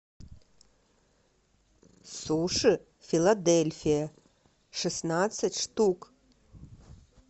суши филадельфия шестнадцать штук